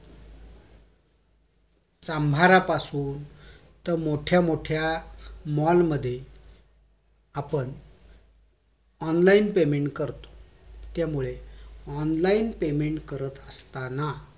चांभारापासून ते मोठ्या मोठ्या mall मध्ये आपण online payment करतो त्यामुळे online payment करत असताना